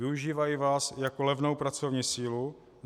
Využívají vás jako levnou pracovní sílu.